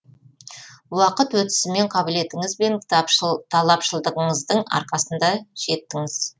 уақыт өтісімен қабілетіңіз бен талапшылдығыңыздың арқасында жеттіңіз